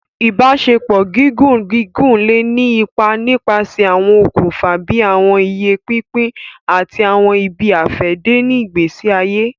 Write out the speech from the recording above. Ibaṣepọ gígùn gígùn le ni ipá nipasẹ awọn òkùnfà bíi awọn iye pínpín ati awọn ibi-afẹde ni ìgbésí ayé.